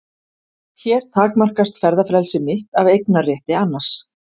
Hér takmarkast ferðafrelsi mitt af eignarétti annars.